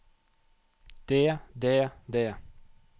det det det